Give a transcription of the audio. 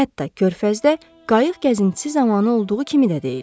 Hətta körfəzdə qayıq gəzintisi zamanı olduğu kimi də deyil.